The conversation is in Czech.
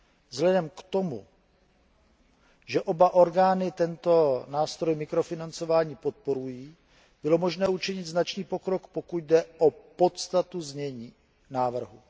Vzhledem k tomu, že oba orgány tento nástroj mikrofinancování podporují, bylo možné učinit značný pokrok, pokud jde o podstatu znění návrhu.